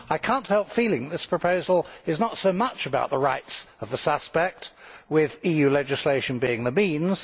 I cannot help feeling that this proposal is not so much about the rights of the suspect, with EU legislation being the means.